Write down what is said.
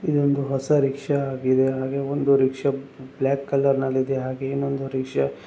ಇದೊಂದು ಹೊಸ ರಿಕ್ಷಾ ಆಗಿದೆ ಹಾಗೆ ಒಂದು ರಿಕ್ಷಾ ಬ್ಲಾಕ್ ಕಲರ್ ನಲ್ಲಿ ಇದೆ ಹಾಗೆ ಇನ್ನೊಂದು ರಿಕ್ಷಾ --